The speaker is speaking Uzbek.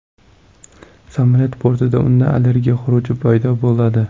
Samolyot bortida unda allergiya xuruji paydo bo‘ladi.